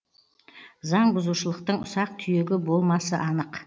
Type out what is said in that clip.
заң бұзушылықтың ұсақ түйегі болмасы анық